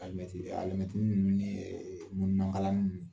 Alimɛti alimɛtini ninnu ni mununan kalani ninnu